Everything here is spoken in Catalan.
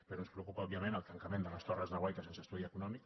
però ens preocupa òbviament el tancament de les tor·res de guaita sense estudi econòmic